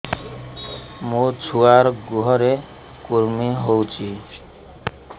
ମୋ ଛୁଆର୍ ଗୁହରେ କୁର୍ମି ହଉଚି